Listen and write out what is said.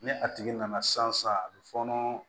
Ni a tigi nana sisan a bɛ fɔɔnɔ